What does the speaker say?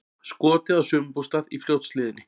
Skotið á sumarbústað í Fljótshlíðinni